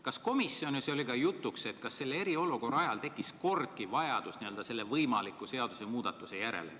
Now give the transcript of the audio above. Kas komisjonis oli juttu ka sellest, kas eriolukorra ajal tekkis kordki vajadus selle võimaliku seadusemuudatuse järele?